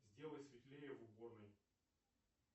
сделай светлее в уборной